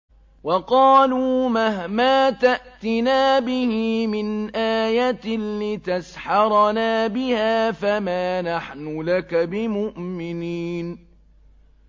وَقَالُوا مَهْمَا تَأْتِنَا بِهِ مِنْ آيَةٍ لِّتَسْحَرَنَا بِهَا فَمَا نَحْنُ لَكَ بِمُؤْمِنِينَ